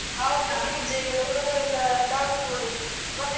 ಆವತ್ತು DJ ಎಲ್ಲಾ ಹುಡುಗರೆಲ್ಲ dance ಮಾಡುವುದು ಮತ್ತೆ .